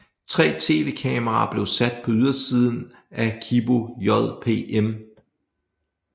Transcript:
Tre tv kameraer blev sat på ydersiden af Kibō JPM